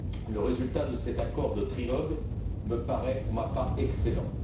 Le résultat de cet accord de trilogue me paraît, pour ma part, excellent.